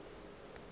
tšeo a bego a di